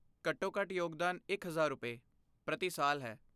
ਘੱਟੋ ਘੱਟ ਯੋਗਦਾਨ ਇਕ ਹਜ਼ਾਰ ਰੁਪਏ, ਪ੍ਰਤੀ ਸਾਲ ਹੈ